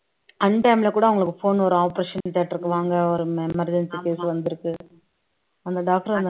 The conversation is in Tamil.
untime ல கூட அவங்களுக்கு phone வரும் operation theatre க்கு வாங்க ஒரு emergency case வந்திருக்கு அந்த doctor அந்த